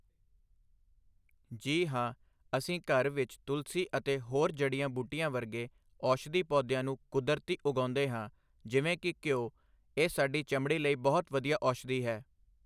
ਜੀ ਹਾਂ ਅਸੀਂ ਘਰ ਵਿੱਚ ਤੁਲਸੀਂ ਅਤੇ ਹੋਰ ਜੜੀਆਂ ਬੂਟੀਆਂ ਵਰਗੇ ਔਸ਼ਦੀ ਪੌਦਿਆਂ ਨੂੰ ਕੁਦਰਤੀ ਉਗਾਉਂਦੇ ਹਾਂ ਜਿਵੇਂ ਕਿ ਘਿਓ ਇਹ ਸਾਡੀ ਚਮੜੀ ਲਈ ਬਹੁਤ ਵਧੀਆ ਔਸ਼ਦੀ ਹੈ